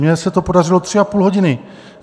Mně se to podařilo tři a půl hodiny.